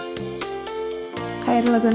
қайырлы күн